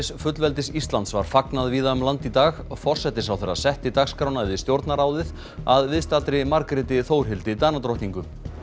fullveldis Íslands var fagnað víða um land í dag forsætisráðherra setti dagskrána við Stjórnarráðið að viðstaddri Margréti Þórhildi Danadrottningu